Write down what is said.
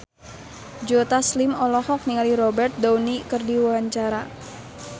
Joe Taslim olohok ningali Robert Downey keur diwawancara